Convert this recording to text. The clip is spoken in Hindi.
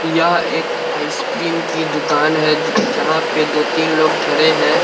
यह एक आइस क्रीम की दुकान है जहाँ पे दो तीन लोग खड़े हैं ।